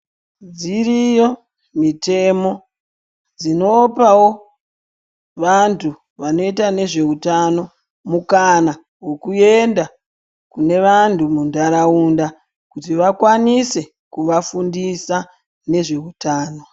Dziriyo mitemo dzinopavo antu anoita nezvehutano mukana vekuenda munevanhu munharaunda. Kuti vakwanise kuvafundisa nezvehutano.